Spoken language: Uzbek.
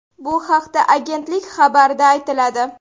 Bu haqda agentlik xabarida aytiladi .